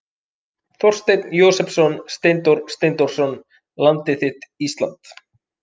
Þorsteinn Jósepsson, Steindór Steindórsson, Landið þitt Ísland.